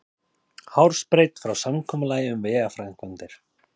Hársbreidd frá samkomulagi um vegaframkvæmdir